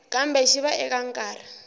kambe xi va eka nkarhi